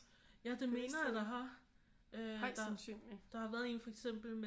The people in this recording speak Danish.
Ja det mener jeg der har øh der har været en for eksempel med